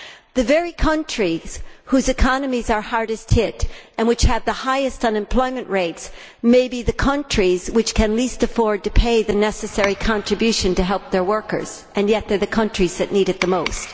The very countries whose economies are hardest hit and which have the highest unemployment rates may be the countries that can least afford to pay the necessary contribution to help their workers, and yet they are the countries that need it the most.